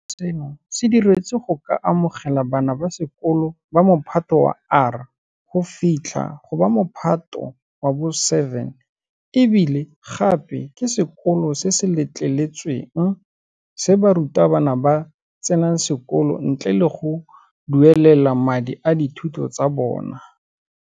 Sekolo seno se diretswe go ka amogela bana ba sekolo ba Mophato wa R go fitlha go ba Mophato wa bo 7 e bile gape ke sekolo se se letleletsweng se barutwana ba tsenang sekolo ntle le go duelela madi a dithuto tsa bona.